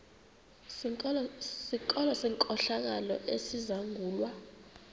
sikolo senkohlakalo esizangulwa